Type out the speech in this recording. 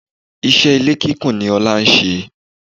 Iṣẹ́ ilé kúnkùn ni Ọlá ń ṣe.